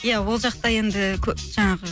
иә ол жақта енді жаңағы